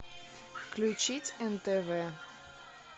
включить нтв